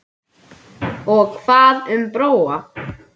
Og hvað um Bróa?